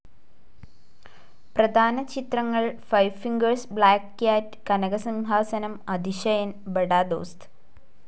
പ്രധാന ചിത്രങ്ങൾ Five Fingers Black Cat Kanakasimhasanam Athisayan Bada ദോസ്ത്.